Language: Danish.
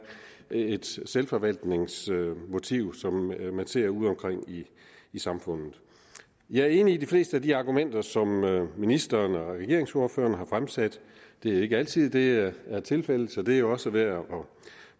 et selvforvaltningsmotiv som man ser udeomkring i samfundet jeg er enig i de fleste af de argumenter som ministeren og regeringsordførerne har fremsat det er ikke altid det er tilfældet så det er jo også værd at